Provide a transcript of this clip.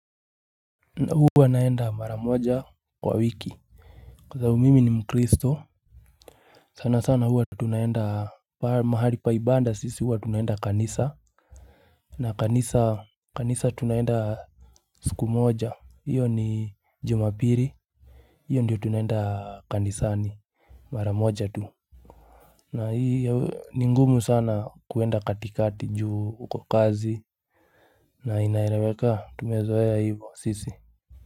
Huwa naenda mara moja kwa wiki Kwa sababu mimi ni mkristo sana sana huwa tunaenda mahali pa ibanda sisi huwa tunaenda kanisa na kanisa kanisa tunaenda Suku moja hiyo ni jumapili hiyo ndiyo tunaenda kanisani Mara moja tu na hiyo ni ngumu sana kuenda katikati juu uko kazi na inaeleweka tumezoea hivyo sisi.